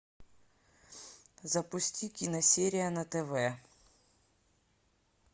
запусти киносерия на тв